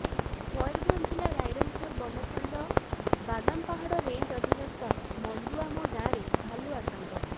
ମୟୂରଭଞ୍ଜ ଜିଲ୍ଲା ରାଇରଙ୍ଗପୁର ବନଖଣ୍ଡ ବାଦାମପାହାଡ଼ ରେଞ୍ଜ ଅଧିନସ୍ଥ ମଣ୍ଡୁଆମ ଗାଁରେ ଭାଲୁ ଆତଙ୍କ